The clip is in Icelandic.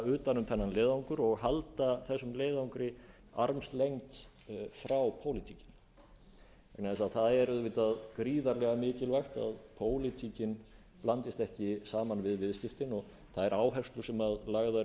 utan um þennan leiðangur og halda þessum leiðangri armslengd frá pólitík vegna þess að það er auðvitað gríðarlega mikilvægt að pólitíkin blandist ekki saman við viðskiptin og þær áherslur sem lagðar